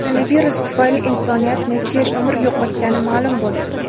Koronavirus tufayli insoniyat necha yil umr yo‘qotgani ma’lum bo‘ldi.